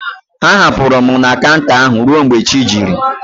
Ha hapụrụ m na kanta ahụ ruo mgbe chi jiri